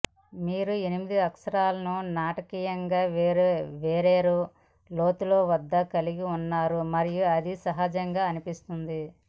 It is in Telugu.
మీరు ఎనిమిది అక్షరాలను నాటకీయంగా వేర్వేరు లోతుల వద్ద కలిగి ఉన్నారు మరియు అది సహజంగా అనిపిస్తుంది